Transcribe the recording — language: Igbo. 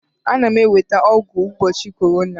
Ana m enweta ọgwụ mgbochi ọrịa corona